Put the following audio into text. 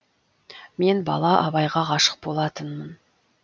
мен бала абайға ғашық болатынмын